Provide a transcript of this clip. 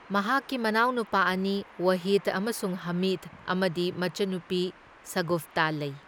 ꯃꯍꯥꯛꯀꯤ ꯃꯅꯥꯎꯅꯨꯄꯥ ꯑꯅꯤ, ꯋꯥꯍꯤꯗ ꯑꯃꯁꯨꯡ ꯍꯥꯃꯤꯗ ꯑꯃꯗꯤ ꯃꯆꯟꯅꯨꯄꯤ ꯁꯥꯒꯨꯐꯇ ꯂꯩ꯫